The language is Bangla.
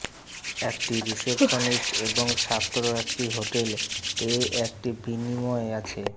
একটি রিসেপশনিস্ট এবং ছাত্র একটি হোটেল এ একটি বিনিময় আছে